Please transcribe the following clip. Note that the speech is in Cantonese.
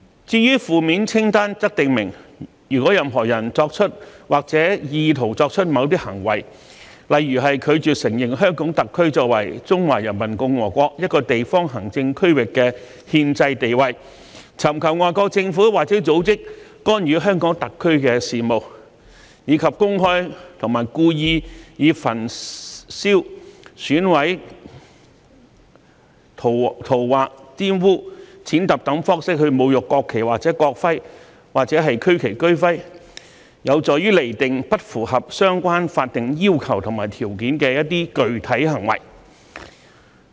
至於負面清單訂明任何人如作出或意圖作出某些行為，例如拒絕承認香港特區作為中華人民共和國一個地方行政區域的憲制地位、尋求外國政府或組織干預香港特區的事務，以及公開和故意以焚燒、毀損、塗劃、玷污、踐踏等方式侮辱國旗或國徽或區旗或區徽，有助釐定不符合相關法定要求和條件的具體行為。